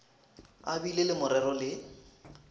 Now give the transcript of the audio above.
a bile le morero le